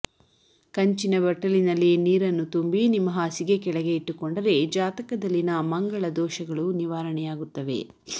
ಕಂಚಿನ ಬಟ್ಟಲಿನಲ್ಲಿ ನೀರನ್ನು ತುಂಬಿ ನಿಮ್ಮ ಹಾಸಿಗೆ ಕೆಳಗೆ ಇಟ್ಟುಕೊಂಡರೆ ಜಾತಕದಲ್ಲಿನ ಮಂಗಳ ದೋಷಗಳು ನಿವಾರಣೆಯಾಗುತ್ತವೆ